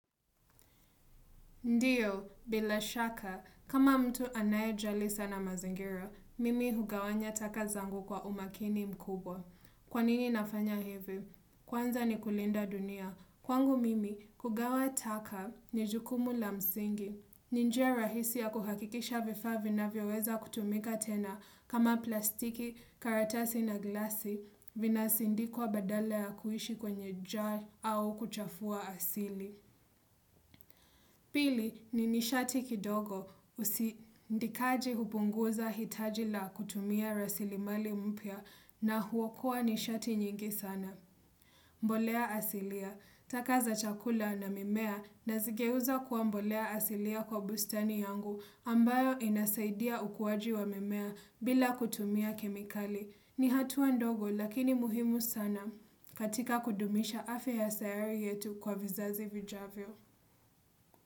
Ndiyo, bila shaka, kama mtu anayejali sana mazingira, mimi hugawanya taka zangu kwa umakini mkubwa. Kwanini nafanya hivi? Kwanza ni kulinda dunia. Kwangu mimi, kugawa taka ni jukumu la msingi. Ni njia rahisi ya kuhakikisha vifaa vinavyoweza kutumika tena kama plastiki, karatasi na glasi vinasindikwa badala ya kuishi kwenye jar au kuchafua asili. Pili ni nishati kidogo usindikaji hupunguza hitaji la kutumia rasilimali mpya na huokoa nishati nyingi sana. Mbolea asilia, taka za chakula na mimea nazigeuza kuwa mbolea asilia kwa bustani yangu ambayo inasaidia ukuaji wa mimea bila kutumia kemikali. Ni hatua ndogo lakini muhimu sana katika kudumisha afya ya sayari yetu kwa vizazi vijavyo.